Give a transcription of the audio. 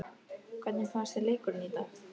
Hvernig fannst þér leikurinn í dag?